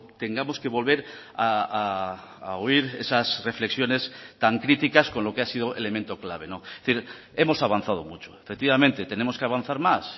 tengamos que volver a oír esas reflexiones tan críticas con lo que ha sido elemento clave es decir hemos avanzado mucho efectivamente tenemos que avanzar más